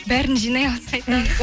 бәрін жинай алса айтамыз